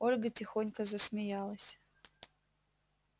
ольга тихонько засмеялась